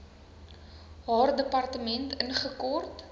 haar departement ingekort